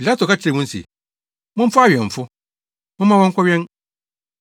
Pilato ka kyerɛɛ wɔn se, “Momfa awɛmfo. Momma wɔnkɔwɛn.”